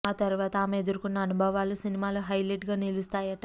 ఆ తరువాత ఆమె ఎదుర్కొన్న అనుభవాలు సినిమాలో హైలెట్ గా నిలుస్తాయట